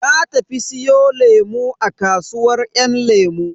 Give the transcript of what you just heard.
Na tafi siyo lemu a kasuwar yan lemu.